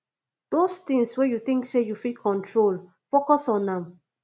dose tins wey yu tink sey yu fit control focus on am